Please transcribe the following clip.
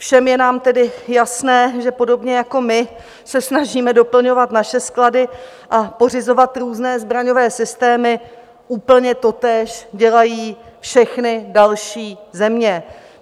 Všem je nám tedy jasné, že podobně, jako my se snažíme doplňovat naše sklady a pořizovat různé zbraňové systémy, úplně totéž dělají všechny další země.